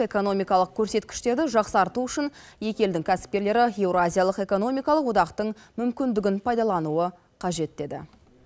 экономкалық көрсеткіштерді жақсарту үшін екі елдің кәсіпкерлері еуразиялық экономикалық одақтың мүмкіндігін пайдалануы қажет деді